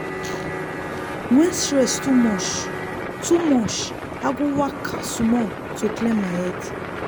when stress too much too much i go waka small to clear my head.